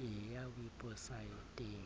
e ya weposaeteng